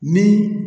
Ni